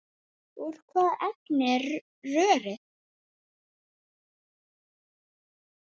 Úr hvaða efni er rörið?